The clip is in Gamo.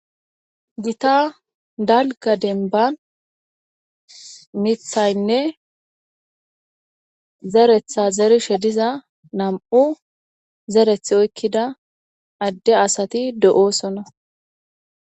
Gita dalga denban mithaynne zeretha zerishe diza nam7u zereth oykkida adde asati do7oosonna